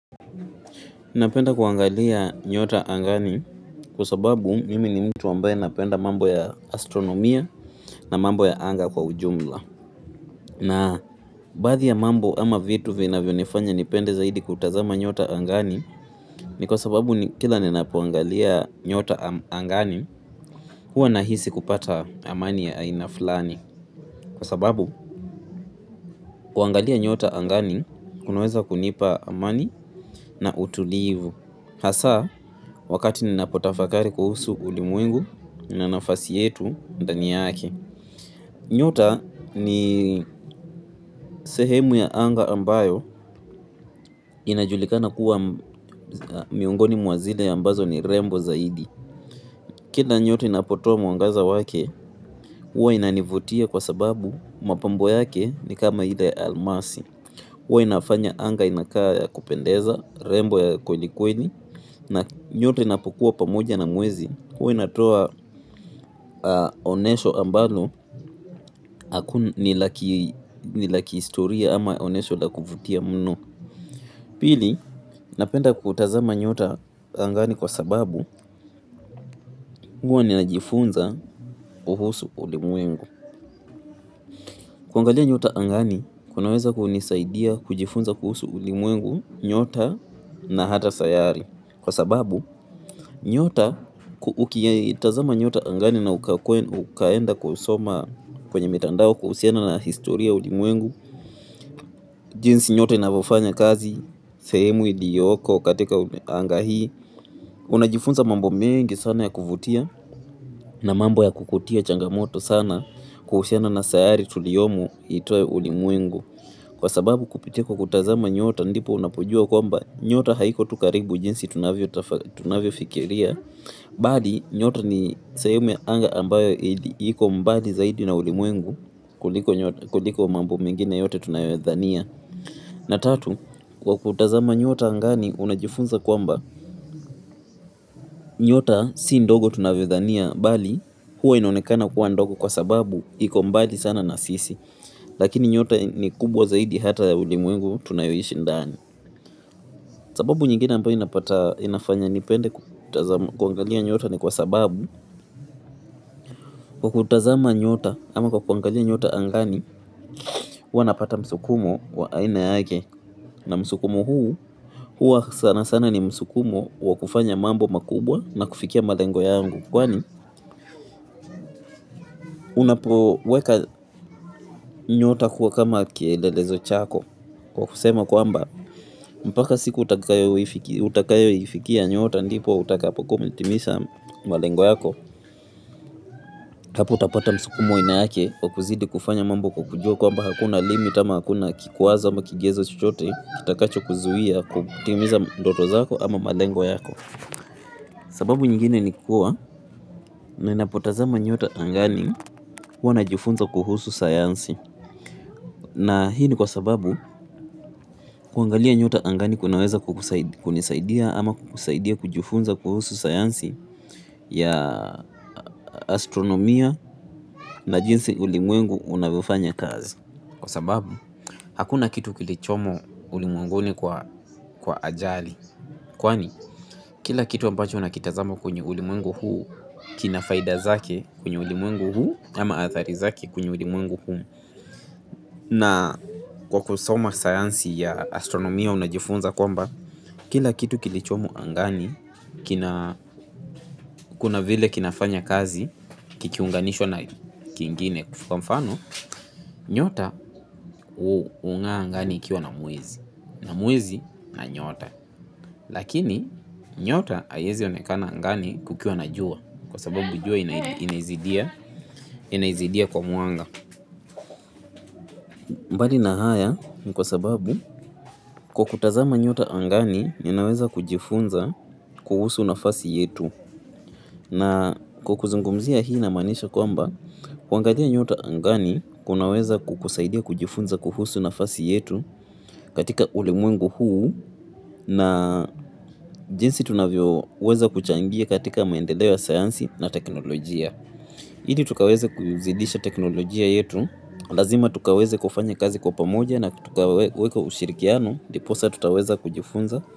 Napenda kuangalia nyota angani kwa sababu mimi ni mtu ambaye napenda mambo ya astronomia na mambo ya anga kwa ujumla. Na baadhi ya mambo ama vitu vinavyo nifanya nipende zaidi kutazama nyota angani ni kwa sababu kila ninapoangalia nyota angani huwa nahisi kupata amani ya aina fulani. Kwa sababu kuangalia nyota angani kunaweza kunipa amani na utulivu. Hasa, wakati ninapotafakari kuhusu ulimwengu na nafasi yetu mdani yake. Nyota ni sehemu ya anga ambayo inajulikana kuwa miongoni mwa zile ambazo ni rembo zaidi. Kila nyota inapotoa mwangaza wake, huwa inanivutia kwa sababu mapambo yake ni kama ile ya almasi. Huwa inafanya anga inakaa ya kupendeza, rembo ya kweli kweli, na nyota inapokuwa pamoja na mwezi. Huwa inatoa onesho ambalo, ni la kihistoria ama onesho la kuvutia mno. Pili, napenda kutazama nyota angani kwa sababu huwa ninajifunza kuhusu ulimwengu. Kuangalia nyota angani kunaweza kunisaidia kujifunza kuhusu ulimwengu, nyota na hata sayari. Kwa sababu nyota ukitazama nyota angani na ukaenda kusoma kwenye mitandao kuhusiana na historia ya ulimwengu, jinsi nyota inavyofanya kazi sehemu iliyoko katika anga hii, unajifunza mambo mengi sana ya kuvutia na mambo ya kukutia changamoto sana kuhusiana na sayari tuliyomu ito ulimwengu. Kwa sababu kupitia kwa kutazama nyota ndipo unapojua kwamba nyota haiko tu karibu jinsi tunavyo fikiria bali nyota ni sehemu ya anga ambayo iko mbali zaidi na ulimwengu kuliko mambo mengine yote tunayodhania la tatu kwa kutazama nyota angani unajifunza kwamba nyota si ndogo tunavyo dhania nali huwa inaonekana kuwa ndogo kwa sababu iko mbali sana na sisi. Lakini nyota ni kubwa zaidi hata ulimwengu tunayoishi ndani. Sababu nyingine ambayo inafanya nipende kuangalia nyota ni kwa sababu kwa kutazama nyota ama kwa kuangalia nyota angani huwa napata msukumo wa aine yake. Na msukumo huu huwa sana sana ni msukumo wa kufanya mambo makubwa na kufikia malengo yangu. Kwani unapoweka nyota kwa kama kielelezo chako. Kwa kusema kwamba mpaka siku utakayo ifikia nyota ndipo utakapo kua umetimisha malengo yako. Kwa kuzidi kufanya mambo kukujua kwa mba hakuna limit ama hakuna kikuwaza ama kigezo chuchote kitakacho kuzuhia kutimisa doto zako ama malengo yako. Sababu nyingine ni kuwa ninapo tazama nyota angani huwa najifunza kuhusu sayansi. Na hii ni kwa sababu kuangalia nyota angani kunaweza kunisaidia ama kukusaidia kujifunza kuhusu sayansi ya astronomia na jinsi ulimwengu unavyofanya kazi. Kwa sababu hakuna kitu kilichomo ulimwenguni kwa ajali. Kwani kila kitu ambacho nakitazama kwenye ulimwengu huu kina faida zake kwenye ulimwengu huu ama athari zake kwenye ulimwengu huu. Na kwa kusoma sayansi ya astronomia unajifunza kwamba kila kitu kilicho angani kina kuna vile kinafanya kazi kikiunganishwa na kingine kwa mfano, nyota hungaa angani ikiwa na mwezi, na mwezi na nyota. Lakini nyota haiwezi onekana angani kukiwa na jua kwa sababu jua inaizidia kwa mwanga. Mbali na haya kwa sababu kukutazama nyota angani ninaweza kujifunza kuhusu nafasi yetu na kukuzungumzia hii na maanisha kwamba kuangalia nyota angani kunaweza kukusaidia kujifunza kuhusu nafasi yetu katika ulimwengu huu na jinsi tunavyo weza kuchangia katika maendeleo ya sayansi na teknolojia. Ili tukaweze kuzidisha teknolojia yetu, lazima tukaweze kufanya kazi kwa pamoja na tukaweka ushirikiano, ndiposa tutaweza kujifunza.